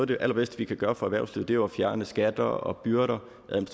det allerbedste vi kan gøre for erhvervslivet er jo at fjerne skatter og byrder